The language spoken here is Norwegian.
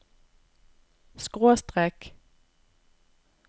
skråstrek